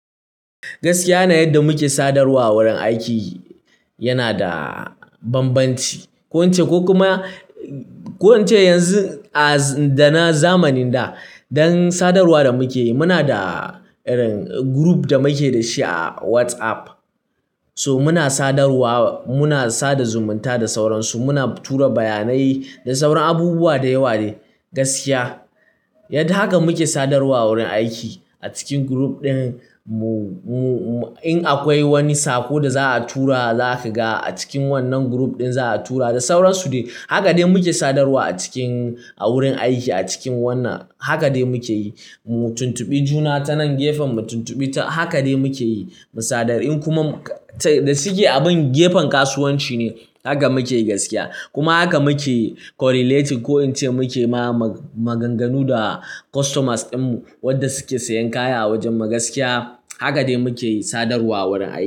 Gaskiya na yadda muke sadarwa a wurin aiki yana da bambanci. Ko in ce, ko kuma, ko in ce yanzu a, da na zamanin da, don sadarwa da muke yi muna da irin group da muke da shi a WhatsApp. So muna sadarwa, muna sada zumunta da sauransu. Muna tura bayanai da sauran abubuwa da yawa ne gaskiya. Yadda haka muke sadarwa a wurin aiki a cikin group ɗin. Mu-mu-in akwai wani saƙo da za'a tura za kaga a cikin wannan group ɗin za'a tura da sauransu dai. Haka dai muke sadarwa a cikin, a wurin aiki a cikin wannan. Haka dai muke yi. Mu tuntubi juna ta nan gefen mu tuntubi ta, haka dai muke yi. Mu sadar, in kuma, da shike abun gefen kasuwanci ne, haka muke yi gaskiya. Kuma haka muke correlating ko in ce muke ma maganganu da customers ɗinmu wadda suke sayan kaya a wajen mu gaskiya. Haka dai muke sadarwa a wurin aiki.